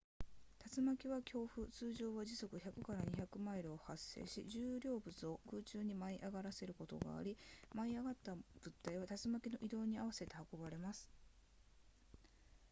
竜巻は強風通常は時速 100～200 マイルを発生し重量物を空中に舞い上がらせることがあり舞い上がった物体は竜巻の移動に合わせて運ばれます